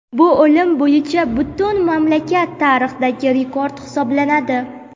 Bu o‘lim bo‘yicha butun mamlakat tarixidagi rekord hisoblanadi.